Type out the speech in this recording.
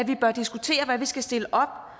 hvad vi skal stille op